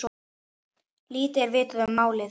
Lítið er vitað um málið.